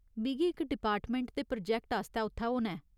मिगी इक डिपार्टमैंट दे प्रोजैक्ट आस्तै उत्थै होना ऐ।